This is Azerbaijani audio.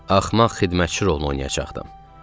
Axmaq xidmətçi rolunu oynayacaqdım.